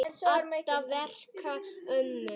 Edda vekur mömmu.